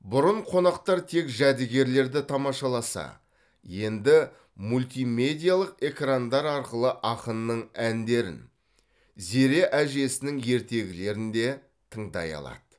бұрын қонақтар тек жәдігерлерді тамашаласа енді мультимедиялық экрандар арқылы ақынның әндерін зере әжесінің ертегілерін де тыңдай алады